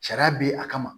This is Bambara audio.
Sariya bɛ a kama